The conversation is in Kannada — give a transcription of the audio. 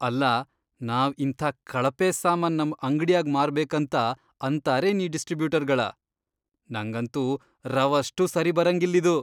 ಅಲ್ಲಾ ನಾವ್ ಇಂಥಾ ಕಳಪೆ ಸಾಮಾನ್ ನಮ್ ಅಂಗ್ಡ್ಯಾಗ್ ಮಾರ್ಬೇಕಂತ ಅಂತಾರೇನ್ ಈ ಡಿಸ್ಟ್ರೀಬ್ಯೂಟರ್ಗಳ.. ನಂಗಂತೂ ರವಷ್ಟೂ ಸರಿಬರಂಗಿಲ್ಲಿದು.